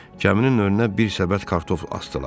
Kəminin önünə bir səbət kartof asdılar.